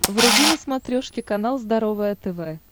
вруби на смотрешке канал здоровое тв